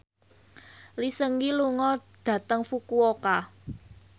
Lee Seung Gi lunga dhateng Fukuoka